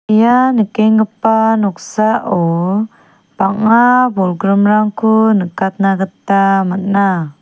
ia nikenggipa noksao bang·a bolgrimrangko nikatna gita man·a.